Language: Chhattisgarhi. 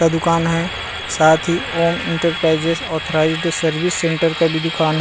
का दुकान है साथ ही Om enterprises authorised service centre का भी दुकान--